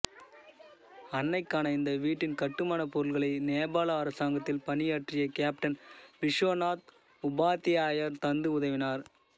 அன்னைக்கான இந்த வீட்டின் கட்டுமானப் பொருட்களை நேபாள அரசாங்கத்தில் பணியாற்றிய கேப்டன் விஸ்வநாத் உபாத்தியாயர் தந்து உதவினார்